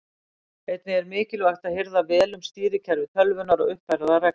Einnig er mikilvægt að hirða vel um stýrikerfi tölvunnar og uppfæra það reglulega.